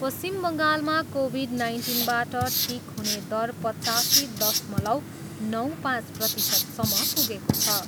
पश्चिम बङ्गालमा कोभिड नाइन्टिनबाट ठिक हुने दर पचासी दशमलव नौ पाँच प्रतिशतसम्म पुगेको छ।